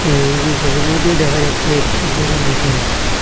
এই সবির মইধ্যে দেখা যাচ্ছে একটি ঘরের ভিতরে--